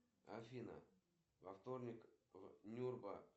каком регионе находится внутренняя тюрьма гпу